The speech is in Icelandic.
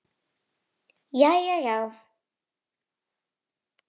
Jæja já?